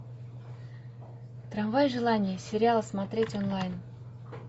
трамвай желание сериал смотреть онлайн